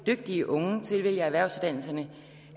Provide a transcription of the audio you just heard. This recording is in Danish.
dygtige unge tilvælger erhvervsuddannelserne